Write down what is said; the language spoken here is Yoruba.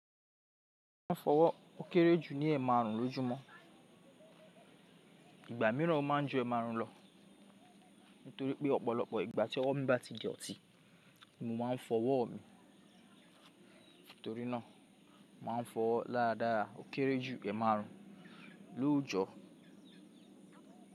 Mo ma n fọwọ́ ó kéré jù ní ẹ̀ márùn lójúmọ́. Ìgbà mìíràn o ma n ju ẹẹmárùn lo nítorí pé ọ̀pọ̀lọpọ̀ ìgbà tí ọwọ mi bá ti dọtí mo ma n fọwọ́ mi. Nítorí náà, ma n fọwọ dáradára ó kéré jù ẹ́ẹmárùn lóójọ́.